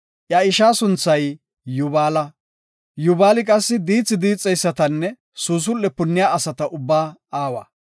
Iya ishaa sunthay Yubaala. Yubaali qassi diithi diixeysatanne suusul7e punniya asata ubbaa aawa.